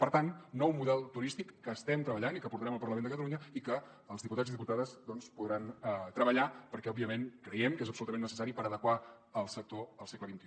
per tant nou model turístic que estem treballant i que portarem al parlament de catalunya i que els diputats i diputades doncs podran treballar perquè òbviament creiem que és absolutament necessari per adequar el sector al segle xxi